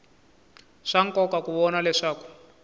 swa nkoka ku vona leswaku